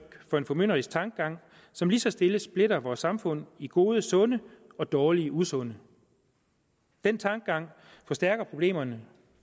for en formynderisk tankegang som lige så stille splitter vores samfund i gode sunde og dårlige usunde den tankegang forstærker problemerne